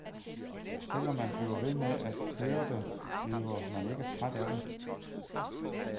Selv om man bliver ved med at høre det, bliver man ikke træt af det.